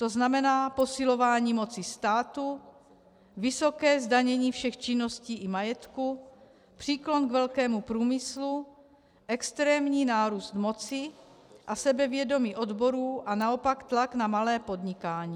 To znamená posilování moci státu, vysoké zdanění všech činností i majetku, příklon k velkému průmyslu, extrémní nárůst moci a sebevědomí odborů a naopak tlak na malé podnikání.